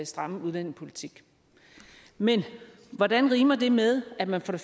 stramme udlændingepolitik men hvordan rimer det med at man